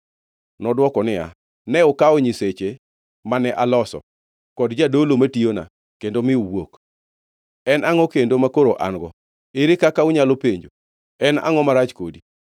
Nodwoko niya, “Ne ukawo nyiseche mane aloso, kod jadolo matiyona kendo mi uwuok. En angʼo kendo makoro an-go? Ere kaka unyalo penjo, ‘En angʼo marach kodi?’ ”